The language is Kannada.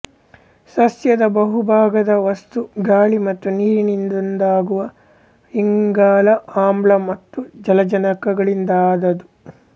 ಸಸ್ಯದ ಬಹುಭಾಗದ ವಸ್ತು ಗಾಳಿ ಮತ್ತು ನೀರಿನಿಂದೊದಗುವ ಇಂಗಾಲ ಆಮ್ಲ ಮತ್ತು ಜಲಜನಕಗಳಿಂದಾದುದು